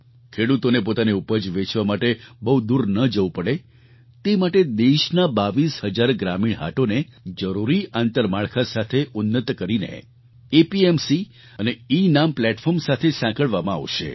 ખેડૂતોને પોતાની ઉપજ વેચવા માટે બહુ દૂર ન જવું પડે તે માટે દેશના 22 હજાર ગ્રામીણ હાટોને જરૂરી આંતરમાળખા સાથે ઉન્નત કરીને એપીએમસી અને એનામ પ્લેટફોર્મ સાથે સાંકળવામાં આવશે